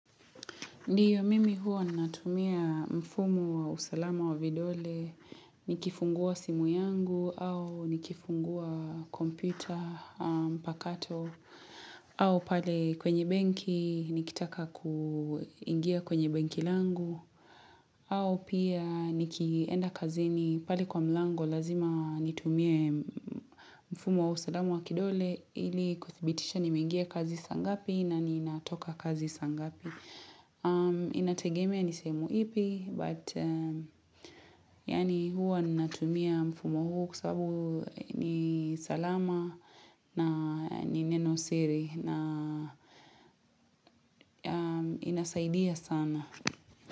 Ndiyo mimi huwa natumia mfumu wa usalama wa vidole, nikifungua simu yangu au nikifungua kompita mpakato au pale kwenye benki nikitaka kuingia kwenye benki langu au pia nikienda kazini pale kwa mlango lazima nitumia mfumu wa usalama wa kidole ili kudhibitisha nimeingia kazi sangapi na ninatoka kazi sangapi. Inategemea nisehemu ipi But Yani huwa ninatumia mfumo huu kwa sababu ni salama na ni neno siri na inasaidia sana.